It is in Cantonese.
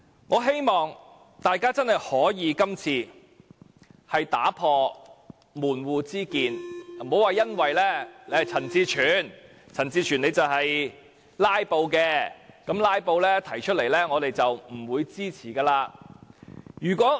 我希望大家這次真的可以打破門戶之見，不要因為是陳志全，而陳志全是"拉布"的，因為是為"拉布"而提出的，便不支持這項修正案。